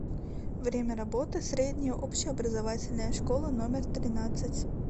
время работы средняя общеобразовательная школа номер тринадцать